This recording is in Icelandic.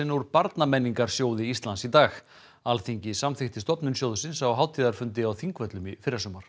úr Íslands í dag Alþingi samþykkti stofnun sjóðsins á hátíðarfundi á Þingvöllum í fyrrasumar